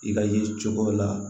I ka ye cogo la